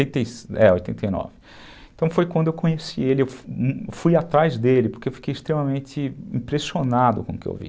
é, oitenta e nove. Então foi quando eu conheci ele, eu fui atrás dele, porque eu fiquei extremamente impressionado com o que eu vi.